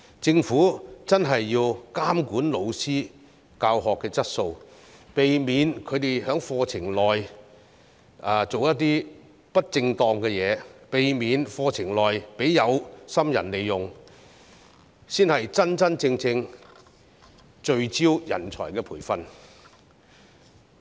政府真的要監管教師的教學質素，避免他們在課程內做些不正當的事情，避免課程被有心人利用，才是真正聚焦培訓人才。